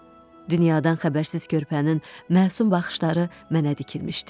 Dünyadan xəbərsiz körpənin məsum baxışları mənə dikilmişdi.